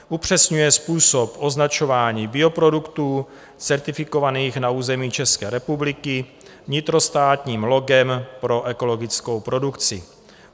Upřesňuje způsob označování bioproduktů certifikovaných na území České republiky vnitrostátním logem pro ekologickou produkci.